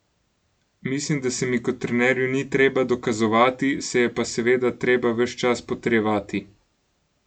Mislim, da se mi kot trenerju ni treba dokazovati, se je pa seveda treba ves čas potrjevati.